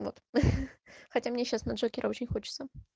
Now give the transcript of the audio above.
вот хотя мне сейчас на джокера очень хочется